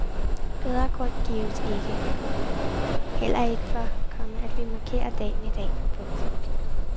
Bedre grund gives ikke, komma heller ikke for, komma at vi markerer dagen i dag. punktum